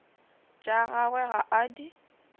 tša gagwe ga a di